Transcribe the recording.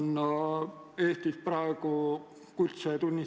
Igal ajahetkel vajatakse 70–80 tõlki.